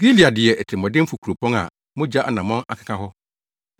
Gilead yɛ atirimɔdenfo kuropɔn a mogya anammɔn akeka hɔ.